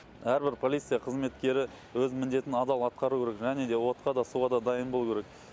әрбір полиция қызметкері өз міндетін адал атқару керек және отқа да суға да дайын болуы керек